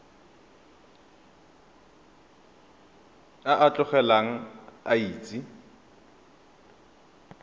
a a tlotlegang a itse